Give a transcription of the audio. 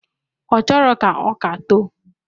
Ọchọrọ ka ọka too.